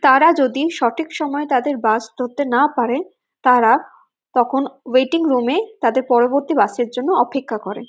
তারা যদি সঠিক সময় তাদের বাস ধরতে না পারে তারা তখন ওয়েটিং রুম -এ তাদের পরবর্তী বাস -এর জন্য অপেক্ষা করে ।